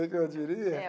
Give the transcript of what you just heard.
Que que eu diria? É.